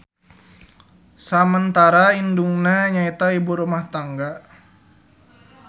Samentara indungna nyaeta ibu rumah tangga.